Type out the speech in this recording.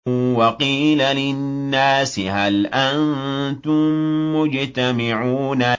وَقِيلَ لِلنَّاسِ هَلْ أَنتُم مُّجْتَمِعُونَ